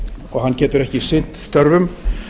og hann getur ekki sinnt störfum